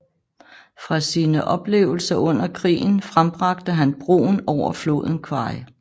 Fra sine oplevelser under krigen frembragte han Broen over floden Kwai